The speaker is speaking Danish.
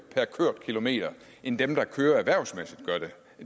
per kørt kilometer end dem der kører erhvervsmæssigt gør det